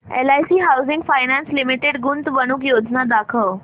LIC housing finance limited गुंतवणूक योजना दाखव